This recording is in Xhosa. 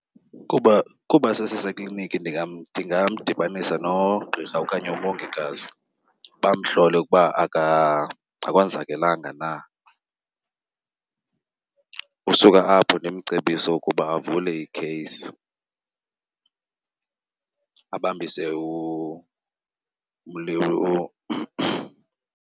Kuba, kuba sesiseklinikhi ndingamdibanisa nogqirha okanye umongikazi bamhlole ukuba akonzakelanga na. Usuka apho ndimcebise ukuba avule i-case, abambise .